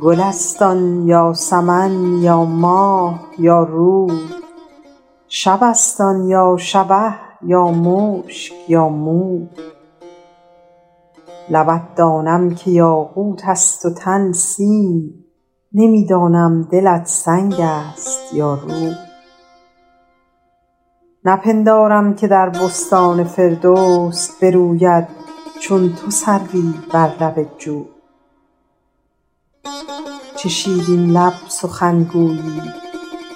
گل است آن یا سمن یا ماه یا روی شب است آن یا شبه یا مشک یا موی لبت دانم که یاقوت است و تن سیم نمی دانم دلت سنگ است یا روی نپندارم که در بستان فردوس بروید چون تو سروی بر لب جوی چه شیرین لب سخنگویی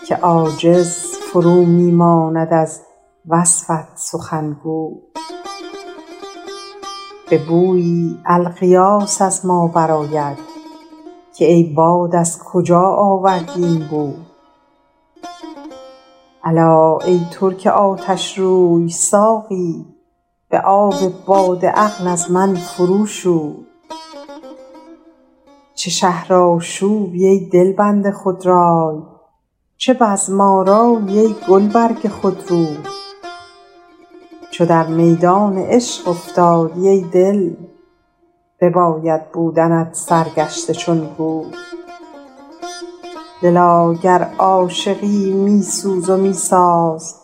که عاجز فرو می ماند از وصفت سخنگوی به بویی الغیاث از ما برآید که ای باد از کجا آوردی این بوی الا ای ترک آتشروی ساقی به آب باده عقل از من فرو شوی چه شهرآشوبی ای دلبند خودرای چه بزم آرایی ای گلبرگ خودروی چو در میدان عشق افتادی ای دل بباید بودنت سرگشته چون گوی دلا گر عاشقی می سوز و می ساز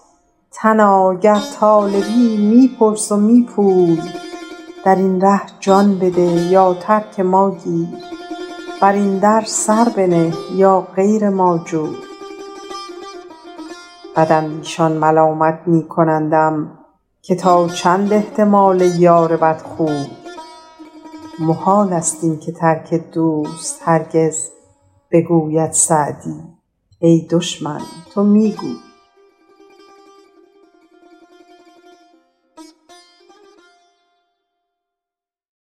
تنا گر طالبی می پرس و می پوی در این ره جان بده یا ترک ما گیر بر این در سر بنه یا غیر ما جوی بداندیشان ملامت می کنندم که تا چند احتمال یار بدخوی محال است این که ترک دوست هرگز بگوید سعدی ای دشمن تو می گوی